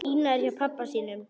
Ína er hjá pabba sínum.